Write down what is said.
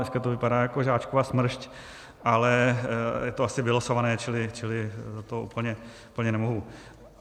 Dneska to vypadá jako Žáčkova smršť, ale je to asi vylosované, čili za to úplně nemohu.